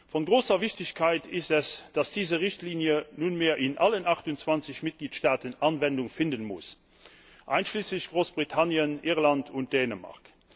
Von großer Wichtigkeit ist es, dass diese Richtlinie nunmehr in allen 28 Mitgliedstaaten Anwendung finden muss, einschließlich Großbritannien, Irland und Dänemark.